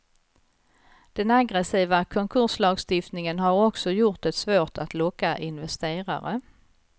Den aggressiva konkurslagstiftningen har också gjort det svårt att locka investerare.